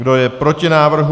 Kdo je proti návrhu?